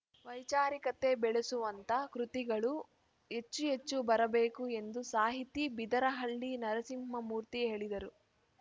ವೈಚಾರಿಕತೆ ಬೆಳೆಸುವಂಥ ಕೃತಿಗಳು ಹೆಚ್ಚು ಹೆಚ್ಚು ಬರಬೇಕು ಎಂದು ಸಾಹಿತಿ ಬಿದರಹಳ್ಳಿ ನರಸಿಂಹಮೂರ್ತಿ ಹೇಳಿದರು